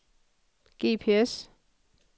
GPS